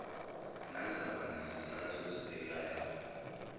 nazaba nazizathu ozibekayo